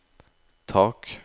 tak